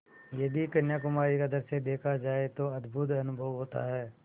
यदि कन्याकुमारी का दृश्य देखा जाए तो अद्भुत अनुभव होता है